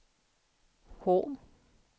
H